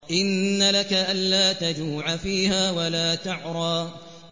إِنَّ لَكَ أَلَّا تَجُوعَ فِيهَا وَلَا تَعْرَىٰ